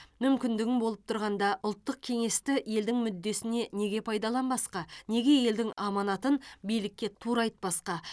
мүмкіндігің болып тұрғанда ұлттық кеңесті елдің мүддесіне неге пайдаланбасқа неге елдің аманатын билікке тура айтпасқа